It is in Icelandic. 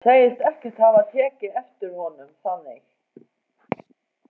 Segist ekkert hafa tekið eftir honum þannig.